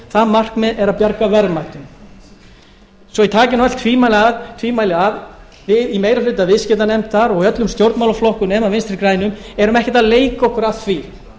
það markmið er að bjarga verðmætum svo ég taki nú öll tvímæli af við í meiri hluta viðskiptanefndar og í öllum stjórnmálaflokkum nema vinstri grænum erum ekkert að leika okkur að því